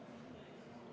Hea juhataja!